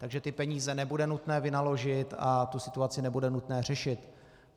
Takže ty peníze nebude nutné vynaložit a tu situaci nebude nutné řešit.